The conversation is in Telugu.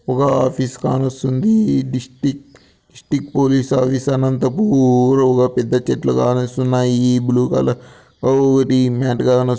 ఒక ఆఫీస్ కానొస్తుందీ district district police officer Anantapur ఒక పెద్ద చెట్లు కానొస్తున్నాయి ఈ బ్లూ కలర్ ఓ--ఒకటి మ్యాట్ కానొ--